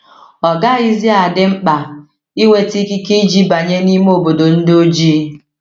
Ọ gaghịzi adị mkpa inweta ikike iji banye n’ime obodo ndị ojii.